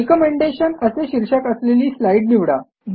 recommendation असे शीर्षक असलेली स्लाईड निवडा